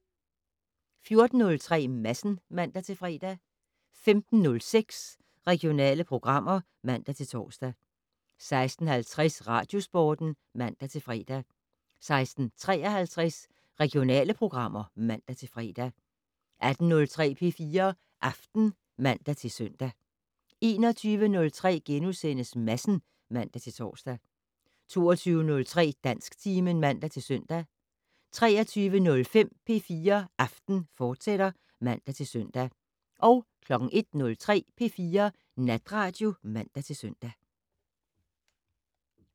14:03: Madsen (man-fre) 15:06: Regionale programmer (man-tor) 16:50: Radiosporten (man-fre) 16:53: Regionale programmer (man-fre) 18:03: P4 Aften (man-søn) 21:03: Madsen *(man-tor) 22:03: Dansktimen (man-søn) 23:05: P4 Aften, fortsat (man-søn) 01:03: P4 Natradio (man-søn)